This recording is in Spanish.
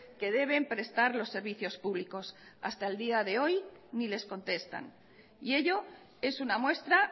que deben prestar los servicios públicos hasta el día de hoy ni les contestan y ello es una muestra